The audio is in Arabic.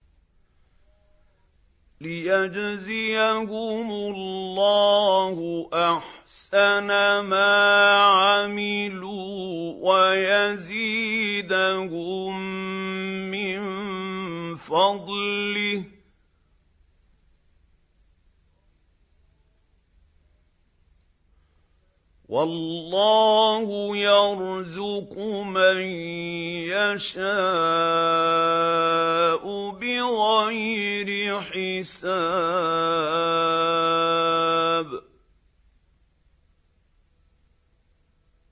لِيَجْزِيَهُمُ اللَّهُ أَحْسَنَ مَا عَمِلُوا وَيَزِيدَهُم مِّن فَضْلِهِ ۗ وَاللَّهُ يَرْزُقُ مَن يَشَاءُ بِغَيْرِ حِسَابٍ